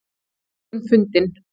Drengurinn fundinn